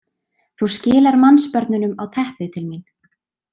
Þú skilar mannsbörnunum á teppið til mín.